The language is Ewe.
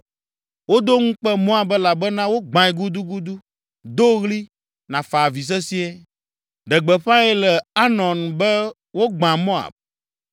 Wodo ŋukpe Moab elabena wogbãe gudugudu. Do ɣli, nàfa avi sesĩe! Ɖe gbeƒãe le Arnon be wogbã Moab.